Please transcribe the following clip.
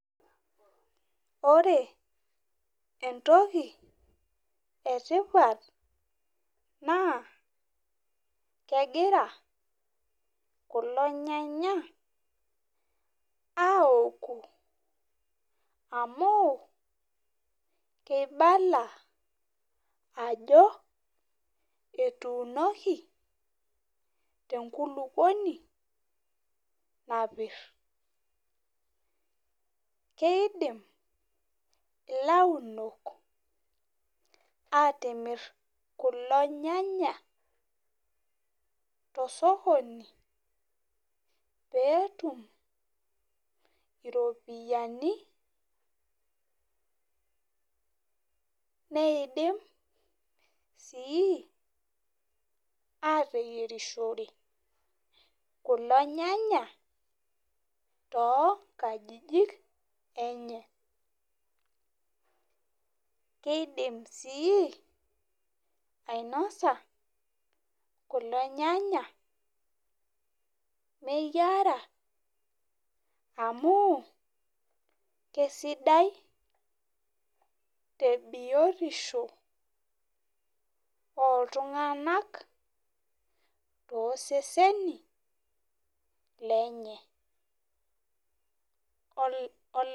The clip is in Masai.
Ore entoki etipat na kegira kulo nyanya aoku amu ibala ajo etuunoli tenkulukuoni napir keidim ilaudok atimir kulo nyanya tosokoni petum ropiyani neidim si ateyierishore kulo nyanya tonkajijik enye kidim si ainosa kulo nyanya meyiara amu kesidai tebiotisho oltunganak toseseni lenye .